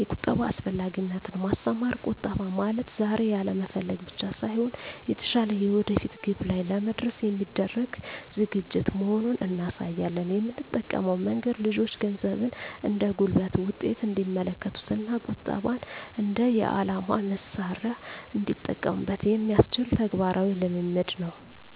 2)የቁጠባ አስፈላጊነትን ማስተማር ቁጠባ ማለት ዛሬ ያለመፈለግ ብቻ ሳይሆን፣ የተሻለ የወደፊት ግብ ላይ ለመድረስ የሚደረግ ዝግጅት መሆኑን እናሳያለን። የምንጠቀመው መንገድ ልጆቹ ገንዘብን እንደ ጉልበት ውጤት እንዲመለከቱት እና ቁጠባን እንደ የዓላማ መሣሪያ እንዲጠቀሙበት የሚያስችል ተግባራዊ ልምምድ ነው።